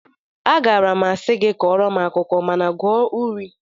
Agaara m asị gị kọọrọ m akụkọ mana gụọ uri